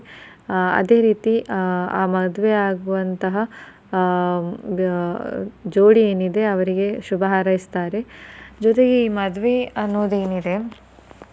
ಆ ಅದೆ ರೀತಿ ಆ ಆ ಮದುವೆ ಆಗುವಂತಹ ಆ ಜೋಡಿ ಏನಿದೆ ಅವರಿಗೆ ಶುಭ ಹಾರೈಸ್ತಾರೆ ಜೊತೆಗೆ ಈ ಮದುವೆ ಅನ್ನೋದೆನಿದೆ